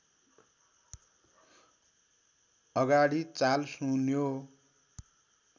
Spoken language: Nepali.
अगाडि चाल सुन्यो